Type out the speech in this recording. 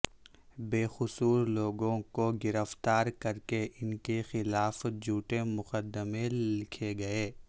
بے قصور لوگوں کو گرفتار کر کے ان کے خلاف جھوٹے مقدمے لکھے گئے